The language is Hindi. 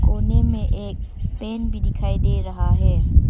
कोने में एक पेन भी दिखाई दे रहा है।